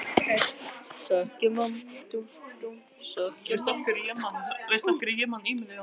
Þvílík villimennska, sagði hann með ensku röddinni sinni.